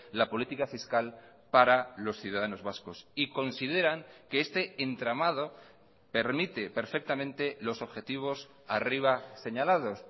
la política fiscal para los ciudadanos vascos y consideran que este entramado permite perfectamente los objetivos arriba señalados